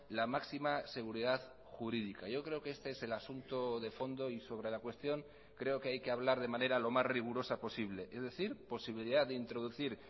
la máxima seguridad jurídica yo creo que este es el asunto de fondo y sobre la cuestión creo que hay que hablar de manera lo más rigurosa posible es decir posibilidad de introducir